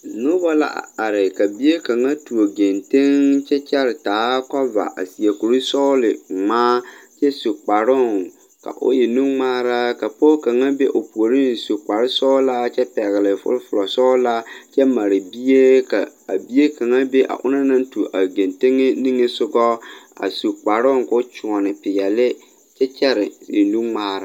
Nobɔ la a are ka bie kaŋa tuo geŋteŋ kyɛ kyɛre taa kɔva a seɛ kurisɔglingmaa kyɛ su kparoŋ ka o e nungmaara ka pɔɔ kaŋa be o puoriŋ su kparesɔglaa kyɛ pɛgle fufulɔsɔglaa kyɛ mare bie kyɛ ka a bie kaŋa be a onaŋ naŋ tuo a geŋteŋe niŋesugɔ a su kparoŋ ko kyoɔne peɛle kyɛ kyɛre e nu ngmaara.